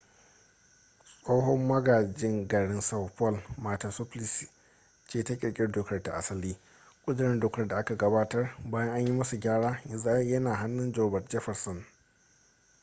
tsohon magajin garin são paulo marta suplicy ce ta kirkiri dokar ta asali. ƙudurin dokar da aka gabatar bayan an yi masa gyara yanzu yana hannun roberto jefferson